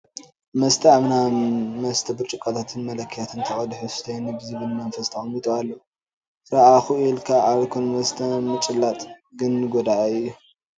መስተ ኣብ ናይ መስተዪ ብርጭቆታትን መለኪያን ተቐዲሑ ስተዩኒ ብዝብል መንፈስ ተቐሚጡ ኣሎ፡፡ ርአኹ ኢልካ ኣልኮል መስተ ምጭላጥ ግን ጎዳኢ እዩ፡፡